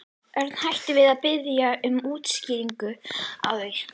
Örn hætti við að biðja um útskýringar á því.